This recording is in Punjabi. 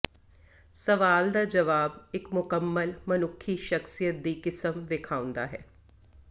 ਸਵਾਲ ਦਾ ਜਵਾਬ ਇੱਕ ਮੁਕੰਮਲ ਮਨੁੱਖੀ ਸ਼ਖ਼ਸੀਅਤ ਦੀ ਕਿਸਮ ਵੇਖਾਉਦਾ ਹੈ